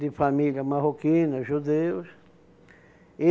De família marroquina, judeus. E